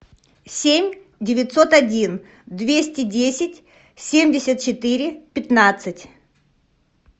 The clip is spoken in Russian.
семь девятьсот один двести десять семьдесят четыре пятнадцать